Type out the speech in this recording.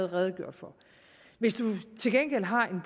redegjort for hvis du til gengæld har en